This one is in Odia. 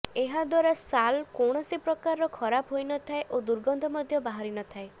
ଏହାଦ୍ବାରା ଶାଲ୍ କୌଣସି ପ୍ରକାରର ଖରାପ ହୋଇ ନଥାଏ ଓ ଦୁର୍ଗନ୍ଧ ମଧ୍ୟ ବାହାରି ନଥାଏ